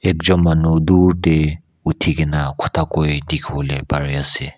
ekjun manu dhur de uthi kena kotha kui dikhibole pari ase.